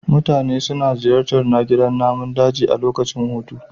Mutane suna ziyartar gidan namun daji a lokacin hutu.